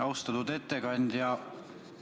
Austatud ettekandja!